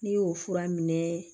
N'i y'o fura minɛ